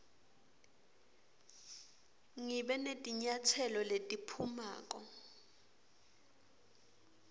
ngibe netinyatselo letiphumako